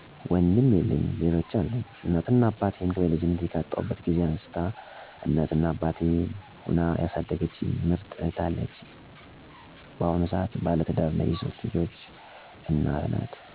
ወንድም የለኝም ሌሎች አሉኝ፦ እናት እና አባቴን በልጅነቴ ካጣሁበት ጊዜ አንስታ እናትም አባትም ሁና ያሣደገችኝ ምርጥ እህት አለችኝ። ባሁኑ ሰአትም ባለትዳርና የሶስት ልጆች እናት ሁና ትገኛለተች ባህር ዳር ለይ። ከ አያቶቸ ውስጥ ደግሞ የ12 ልጆች አባት የሆነው የ አባቴ አባት በህይወት 88 አመቱ ላይ ይገኛል። 6አጎቶቼ በተለያየ ስራ ተሰማርተውተ፤ ትዳር መሥርተው ይገኛሉ።። 6አክስቶቸም እንዲሁ በስራ እና በትዳር ላይ ልጆች ወልደው በማሥተዳደር ላይ ይገኛሉ ማለት ነው። ያጎት እና ያክስቴ ልጆችም በትምህርትና በተለያየ ስራ ተሰማርተው ይገኛሉ ባጠቃላይ።